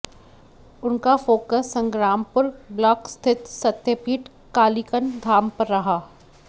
उनका focus Sangrampur block स्थित सत्यपीठ कालिकन धाम पर रहा